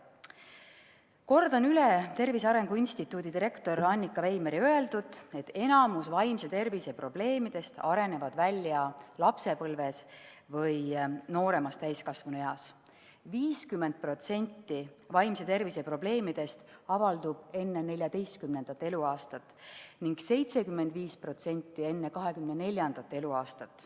Kordan üle Tervise Arengu Instituudi direktori Annika Veimeri öeldut, et enamik vaimse tervise probleemidest areneb välja lapsepõlves või nooremas täiskasvanueas, 50% vaimse tervise probleemidest avaldub enne 14. eluaastat ning 75% enne 24. eluaastat.